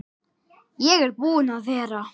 Ég er búinn að vera